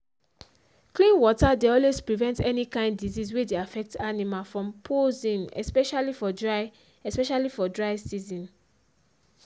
clean water dey always prevent any kind disease wey dey affect animal from possing especially for dry especially for dry season